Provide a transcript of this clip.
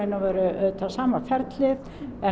auðvitað sama ferlið en